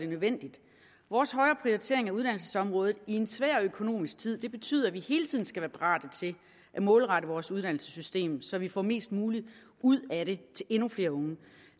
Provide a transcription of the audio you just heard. nødvendigt vores højere prioritering af uddannelsesområdet i en svær økonomisk tid betyder at vi hele tiden skal være parate til at målrette vores uddannelsessystem så vi får mest muligt ud af det til endnu flere unge